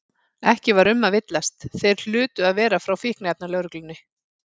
Ekki var um að villast, þeir hlutu að vera frá Fíkniefnalögreglunni.